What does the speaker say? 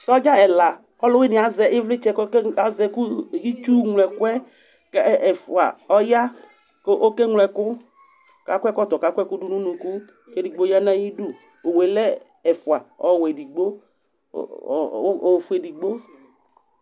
Sɔdza ɛla k'ɔlʋwini yɛ azɛ ivlitsɛ itsu ŋlo ɛkʋ yɛ, kɛ ɛɛ ɛfua ɔya kʋ okeŋlo ɛkʋ, k'akɔ ɛkɔtɔ k'ɔke ŋlo ɛkʋ, k'edigbo ya n'syidu Owu yɛ lɛ ɛfua, ɔwɛ edigbo ɔɔ ofue edigbo